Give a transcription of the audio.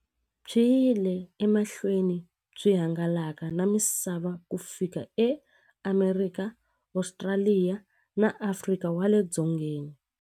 Byi yile emahlweni byi hangalaka na misava ku fika eAmerika, Ostraliya na Afrika wale dzongeni.